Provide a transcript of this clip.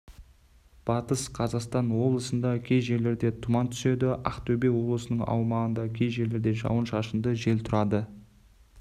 батыс қазақстан облысында кей жерлерде тұман түседі ақтөбе облысының аумағында кей жерлерде жауын-шашынды жел тұрады